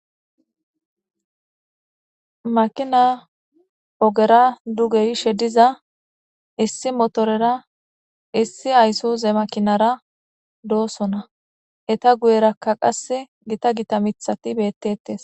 makina ogera duge yishe diza issi motorera issi aysoze makinara doosona eta guyerakka qas gita gita mithati beettettes